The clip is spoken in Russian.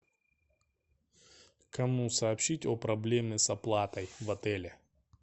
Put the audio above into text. кому сообщить о проблеме с оплатой в отеле